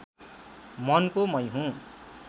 मनको मै हुँ